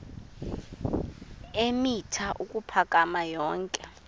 eemitha ukuphakama yonke